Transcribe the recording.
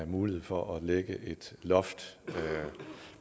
mulighed for at lægge et loft